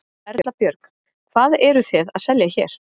Erla Björg: Hvað eruð þið að selja hér?